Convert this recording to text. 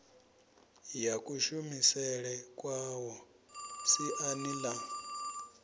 ya kushumisele kwawo siani ḽa